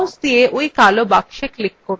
mouse দিয়ে ওই কালো box click করুন